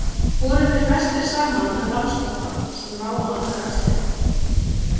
Voru þeir festir saman með bandspotta, sem lá á annarri öxlinni.